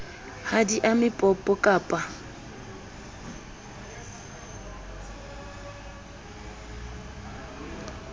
ha di ame popo kappa